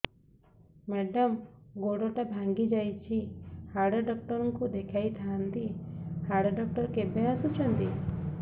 madam ଗୋଡ ଟା ଭାଙ୍ଗି ଯାଇଛି ହାଡ ଡକ୍ଟର ଙ୍କୁ ଦେଖାଇ ଥାଆନ୍ତି ହାଡ ଡକ୍ଟର କେବେ ଆସୁଛନ୍ତି